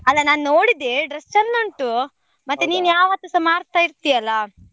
ಅಲ್ಲ ನಾನ್ ನೋಡಿದ್ದೇ dress ಚಂದ ಉಂಟು, ನೀನ್ ಯಾವತ್ತೂಸಾ ಮಾಡ್ತಾ ಇರ್ತಿ ಅಲ್ಲ.